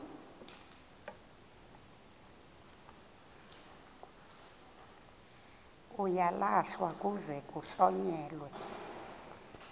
uyalahlwa kuze kuhlonyelwe